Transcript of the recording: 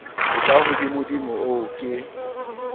a ka hodimodimo ao ke